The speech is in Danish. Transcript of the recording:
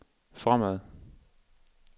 fremad